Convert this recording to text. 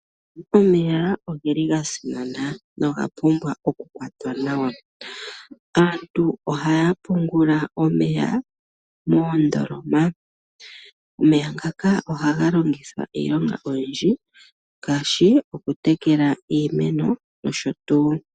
Omeya ogeli ga simana noga pumbwa oku kwatwa nawa. Aantu ohaya pungula omeya moondoloma. Omeya ngaka ohaga longithwa iilonga oyindji ngaashi oku tekela iimeno nosho tuu.